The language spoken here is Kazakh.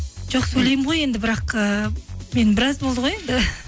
жоқ сөйлеймін ғой енді бірақ ііі мен біраз болды ғой енді